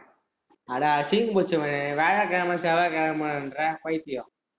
அட அசிங்கம் புடிச்சவனே வியாழகிழம, செவ்வாயகிழமன்ற பைத்தியோ